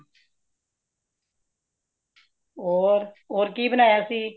ਹੋਰ, ਹੋਰ ਕੀ ਬਣਾਇਆ ਸੀ